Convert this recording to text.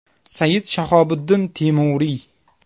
Sayid Shahobuddin Temuriy.